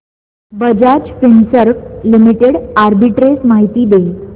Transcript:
Bajaj Finserv limited arbitrage माहिती दे